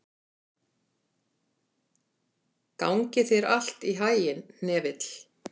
Gangi þér allt í haginn, Hnefill.